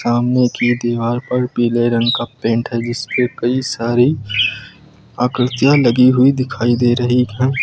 सामने की दीवार पर पीले रंग का पेंट है जिसपे कई सारी आकृतियां लगी हुई दिखाई दे रही हैं।